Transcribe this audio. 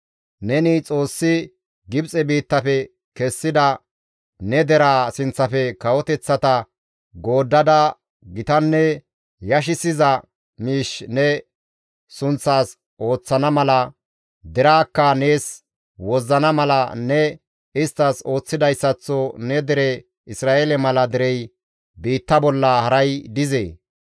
Neni Xoossi Gibxe biittafe kessida ne deraa sinththafe kawoteththata gooddada gitanne yashissiza miish ne sunththas ooththana mala, deraakka nees wozzana mala ne isttas ooththidayssaththo ne dere Isra7eele mala derey biitta bolla haray dizee?